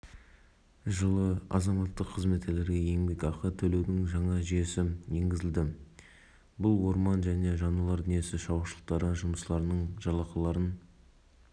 жұмыс бабында жүріп жараланғанда немесе қаза тапқан жағдайда отбасыларын әлеуметтік тұрғыда қорғау қарастырылған деді асқар